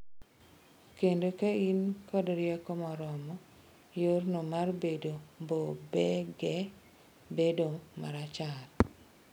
Kendo ka in kod rieko moromo, yorno mar bedo mbobege bedo marachar.